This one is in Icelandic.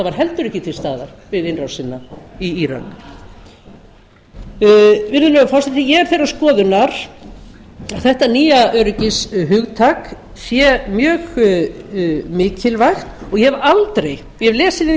var heldur ekki til staðar við innrásina í írak virðulegur forseti ég er þeirrar skoðunar að þetta nýja öryggishugtak sé mjög mikilvægt og ég hef aldrei ég hef lesið yfir